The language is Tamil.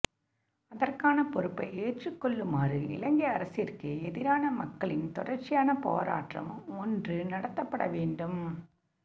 அதற்கான பொறுப்பை ஏற்றுக்கொள்ளுமாறு இலங்கை அரசிற்கு எதிரான மக்களின் தொடர்ச்சியான போராட்டம் ஒன்று நடத்தப்பட வேண்டும்